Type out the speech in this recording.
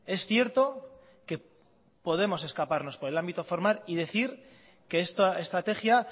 es cierto que podemos escaparnos por el ámbito formal y decir que esta estrategia